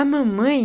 A mamãe,